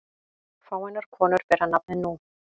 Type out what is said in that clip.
Fáeinar konur bera nafnið nú.